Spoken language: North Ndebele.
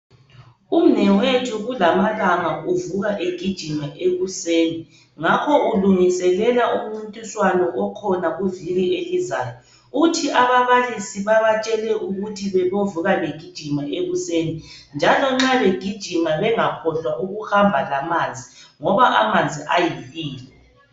Umnewethu kula amalanga, uvuka egijima ekuseni. Ngakho ulungiselela umncintiswano okhona kuviki elizayo. Uthi ababalisi babatshele ukuthi bebovuka begijima ekuseni. Njalo nxa begijima , bangakhohlwa ukuhamba lamanzi ekuseni, ngoba amanzi ayimpilo.